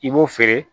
I b'o feere